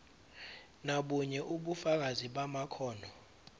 nobunye ubufakazi bamakhono